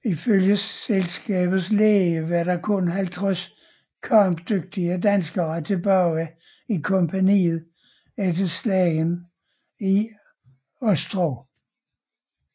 Ifølge selskabets læge var der kun 50 kampdygtige danskere tilbage i kompagniet efter slagene i Ostrov